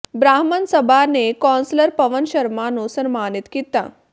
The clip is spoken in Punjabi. ਬ੍ਰਾਹਮਣ ਸਭਾ ਨੇ ਕੌਂਸਲਰ ਪਵਨ ਸ਼ਰਮਾ ਨੂੰ ਸਨਮਾਨਿਤ ਕੀਤਾ